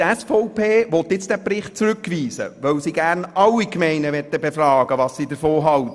Die SVP will diesen Bericht nun zurückweisen, weil sie gerne alle Gemeinden befragt haben möchte.